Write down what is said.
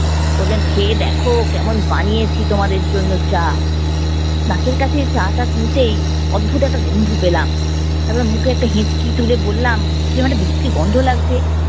খেয়ে দেখো কেমন বানিয়েছি তোমাদের জন্য চা। নাকের কাছে চা টা নিতেই অদ্ভুত একটা গন্ধ পেলাম, তারপর মুখে একটা হেঁচকি তুলে বললাম কিরম একটা বিচ্ছিরি গন্ধ লাগছে।